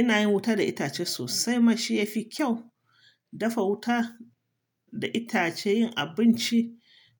Ina yin wuta da itace sosai. Mashiyafi kyau. Dafa wuta da itace, yin abinci